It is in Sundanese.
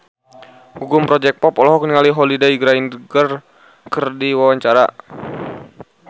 Gugum Project Pop olohok ningali Holliday Grainger keur diwawancara